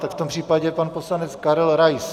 Tak v tom případě pan poslanec Karel Rais.